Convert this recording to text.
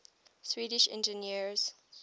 swedish engineers